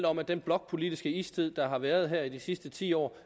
om at den blokpolitiske istid der har været her i de sidste ti år